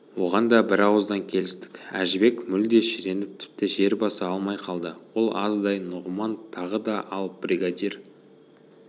оған да бір ауыздан келістік әжібек мүлде шіреніп тіпті жер баса алмай қалды ол аздай нұғыман тағы да ал бригадир